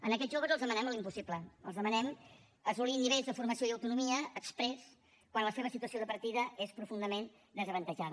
a aquests joves els demanem l’impossible els demanem assolir nivells de formació i autonomia exprés quan la seva situació de partida és profundament desavantatjada